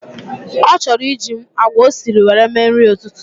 O choro iji agwa osiri were mee nrï ütütü